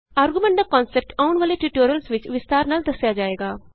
argument ਦਾ concept ਆਉਣ ਵਾਲੇ ਟਯੂਟੋਰਿਅਲਸ ਵਿਚ ਵਿਸਤਾਰ ਨਾਲ ਦੱਸਿਆ ਜਾਏਗਾ